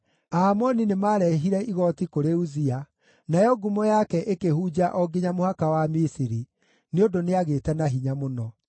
Aamoni nĩmarehire igooti kũrĩ Uzia, nayo ngumo yake ĩkĩhunja o nginya mũhaka wa Misiri, nĩ ũndũ nĩagĩĩte na hinya mũno.